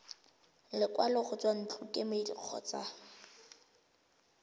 lekwalo go tswa ntlokemeding kgotsa